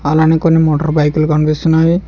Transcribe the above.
అలానే కొన్ని మోటార్ బైకులు కనిపిస్తున్నాయి.